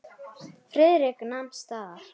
Friðrik nam staðar.